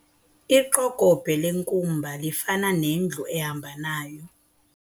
Iqokobhe lenkumba lifana nendlu ehamba nayo.